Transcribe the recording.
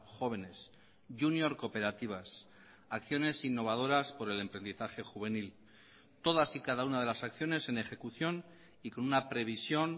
jóvenes junior cooperativas acciones innovadoras por el emprendizaje juvenil todas y cada una de las acciones en ejecución y con una previsión